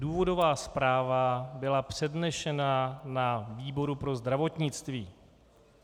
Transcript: Důvodová zpráva byla přednesena na výboru pro zdravotnictví.